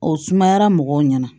O sumayara mɔgɔw ɲɛna